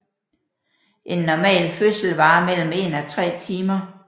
En normal fødsel varer mellem en og tre timer